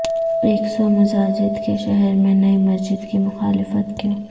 ایک سو مساجد کے شہر میں نئی مسجد کی مخالفت کیوں